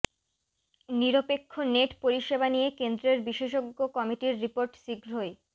নিরপেক্ষ নেট পরিষেবা নিয়ে কেন্দ্রের বিশেষজ্ঞ কমিটির রিপোর্ট শীঘ্রই